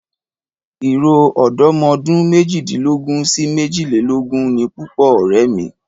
Ìrọ̀ ọ̀dọ́ ọmọ ọdún méjìdínlógún sí méjìlélógún ni púpọ̀ ọ̀rẹ́ mi.